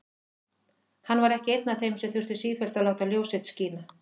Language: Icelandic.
Hann var ekki einn af þeim sem þurftu sífellt að láta ljós sitt skína.